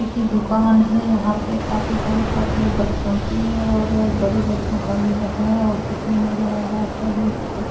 एक ही दुकान है यहां पे काफी सारे कपड़े बच्चो के और बड़े बच्चो का भी है और कुछ नहीं नजर आ रहा शायद यहां पे --